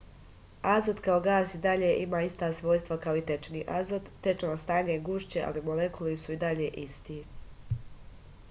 azot kao gas i dalje ima ista svojstva kao i tečni azot tečno stanje je gušće ali molekuli su i dalje isti